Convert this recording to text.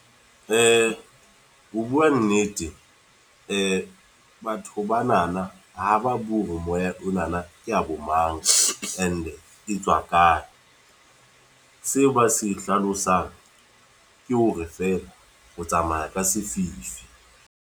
Ho bua nnete, batho ba na na ha ba bue moya o na na ke a bo mang, and e tswa kae. Seo ba se hlalosang ke hore fela, o tsamaya ka sefifi.